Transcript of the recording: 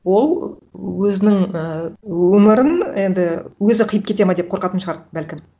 ол өзінің ііі өмірін енді өзі қиып кетеді ма деп қорқатын шығар бәлкім